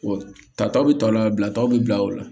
Tataw bɛ tɔ o la bilataw bɛ bila o la